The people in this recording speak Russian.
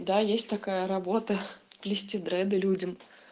да есть такая работа плести дреды людям